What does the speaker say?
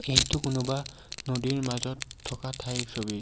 এইটো কোনোবা নদীৰ মাজত থকা ঠাইৰ ছবি।